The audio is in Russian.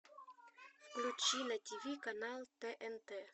включи на тв канал тнт